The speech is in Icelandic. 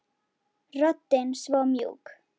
Röddin svo mjúk.